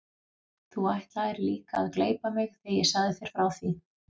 Þú ætlaðir líka að gleypa mig þegar ég sagði þér frá því.